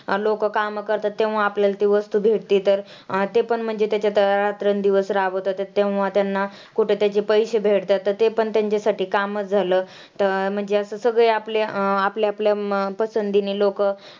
लोकं कामं करतात तेव्हा आपल्याला ती वस्तु भेटती तर हा ते पण म्हणजे तेच्या रात्रंदिवस राबत होते तेव्हा त्यांना कुठे त्याचे पैशे भेटतात. तर ते पण त्यांचेसाठी कामच झालं. तर म्हणजे असं सगळे आपले आपल्या आपल्या पसंदीने लोकं